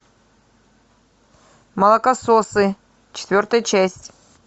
молокососы четвертая часть